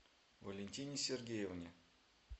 валентине сергеевне